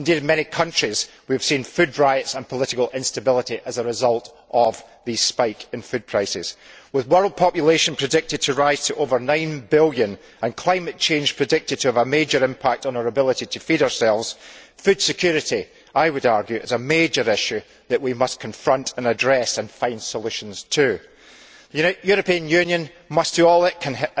Indeed, in many countries, we have seen food riots and political instability as a result of the spike in food prices. With world population predicted to rise to over nine billion and climate change predicted to have a major impact on our ability to feed ourselves, food security is, I would argue, a major issue that we must confront and address and find solutions to. The European Union must do all it can